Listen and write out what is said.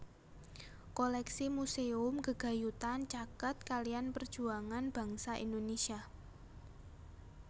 Koléksi muséum gegayutan caket kaliyan perjuangan bangsa Indonesia